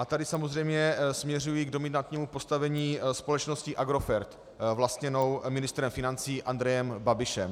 A tady samozřejmě směřuji k dominantnímu postavení společnosti Agrofert vlastněné ministrem financí Andrejem Babišem.